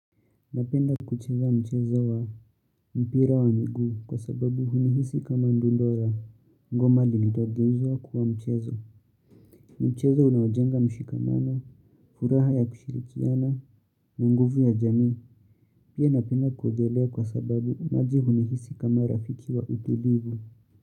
Napenda kuchinga mchezo wa mpira wa miguu kwa sababu hunihisi kama ndundo ya ngoma lililogeuzwa kuwa mchezo. Mchezo unaojenga mshikamano, furaha ya kushirikiana na nguvu ya jamii. Pia napenda kuogelea kwa sababu maji hunihisi kama rafiki wa utulivu.